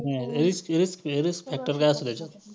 risk~risk~risk factor काय असतो?